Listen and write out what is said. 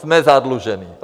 Jsme zadluženi.